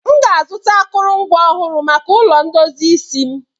M ga-azụta akụrụngwa ọhụrụ maka ụlọ ndozi isi m